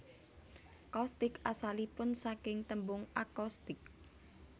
Coustic asalipun saking tembung acoustic